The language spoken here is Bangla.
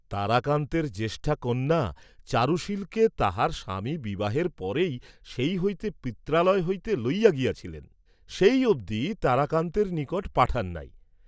তারাকান্তের জ্যেষ্ঠা কন্যা চারুশীলকে তাহার স্বামী বিবাহের পরই সেই হইতে পিত্রালয় হইতে লইয়া গিয়াছিলেন, সেই অবধি তারাকান্তের নিকট পাঠান নাই।